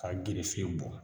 K'a gerefe bɔ